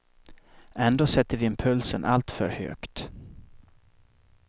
Ändå sätter vi impulsen alltför högt.